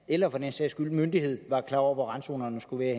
eller for den sags skyld myndighed er klar over hvor randzonerne skal være